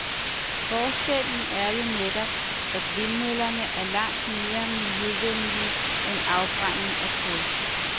Forskellen er jo netop, at vindmøllerne er langt mere miljøvenlige end afbrænding af kul.